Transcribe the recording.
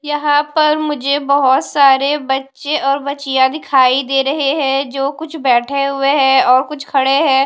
यहां पर मुझे बहोत सारे बच्चे और बच्चियां दिखाई दे रहे हैं जो कुछ बैठे हुए हैं और कुछ खड़े हैं।